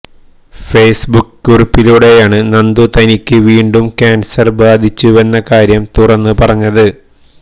Facebook കുറിപ്പിലൂടെയാണ് നന്ദു തനിക്ക് വീണ്ടും ക്യാന്സര് ബാധിച്ചുവെന്ന കാര്യം തുറന്ന് പറഞ്ഞത്